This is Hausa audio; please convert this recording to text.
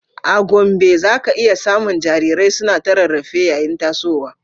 A Gombe, za ka iya samun jarirai suna ta rarrafe yayin tasowa